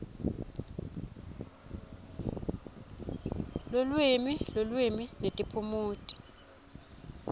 lulwimi lulwimi netiphumuti